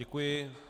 Děkuji.